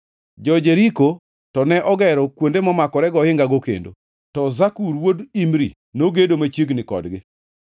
Jo-Jeriko to ne ogero kuonde momakore gohingago kendo, to Zakur wuod Imri nogedo machiegni kodgi.